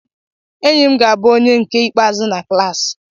Enyi m ga-abụ onye nke ikpeazụ na klassi.